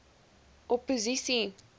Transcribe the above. opposisie